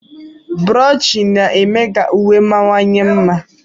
Brochi na-eme ka uwe mawanye mma.